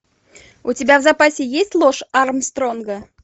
у тебя в запасе есть ложь армстронга